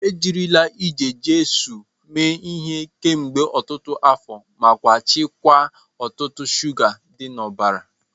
Ejirila Eje-Jesu mee ihe kemgbe otutu afo maka chịkwaa ọ̀tụ̀tụ̀ shuga dị n’ọbara.